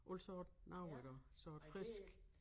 Alt sådan noget iggå så et frisk